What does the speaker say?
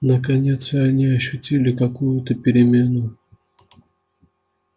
наконец и они ощутили какую-то перемену